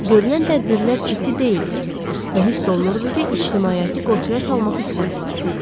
Görülən tədbirlər ciddi deyildi və hiss olunurdu ki, ictimaiyyəti qorxuya salmaq istəmirlər.